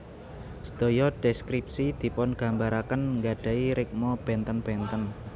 Sedaya deskripsi dipungambaraken nggadahi rikma benten benten